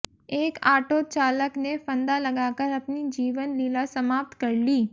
एक आटो चालक ने फंदा लगाकर अपनी जीवन लीला समाप्त कर ली